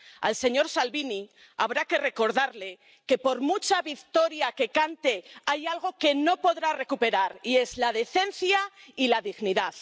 Al señor Salvini habrá que recordarle que, por mucha victoria que cante, hay algo que no podrá recuperar y es la decencia y la dignidad.